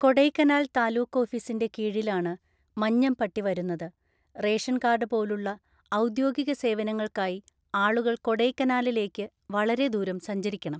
കൊടൈക്കനാൽ താലൂക്ക് ഓഫീസിന്റെ കീഴിലാണ് മഞ്ഞംപട്ടി വരുന്നത്, റേഷൻ കാർഡ് പോലുള്ള ഔദ്യോഗിക സേവനങ്ങൾക്കായി ആളുകൾ കൊടൈക്കനാലിലേക്ക് വളരെ ദൂരം സഞ്ചരിക്കണം.